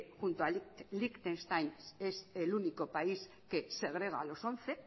junto a liechtenstein que es el único país que segrega a los once